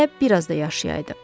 Hələ bir az da yaşayaydı.